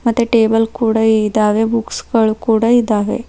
ಮತ್ತೆ ಟೇಬಲ್ ಕೂಡ ಇದಾವೆ ಬುಕ್ಸ್ ಗಳು ಕೂಡ ಇದಾವೆ.